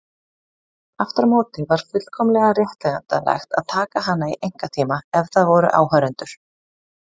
Aftur á móti var fullkomlega réttlætanlegt að taka hana í einkatíma ef það voru áhorfendur.